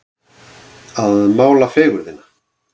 Að mála fegurðina